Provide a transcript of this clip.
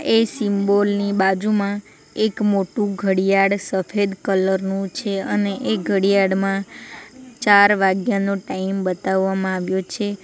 એ symbol ની બાજુમાં એક મોટું ઘડિયાળ સફેદ કલર નું છે અને એ ઘડિયાળમાં ચાર વાગ્યાનો ટાઈમ બતાવવામાં આવ્યો છે.